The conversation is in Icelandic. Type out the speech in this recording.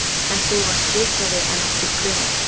En þú varst vitrari en okkur grunaði.